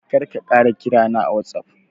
Kar ka ƙara kira na a watsaf.